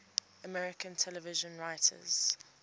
american television writers